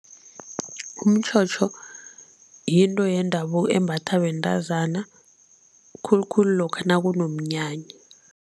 Umtjhotjho yinto yendabuko embathwa bentazana khulukhulu lokha nakunomnyanya.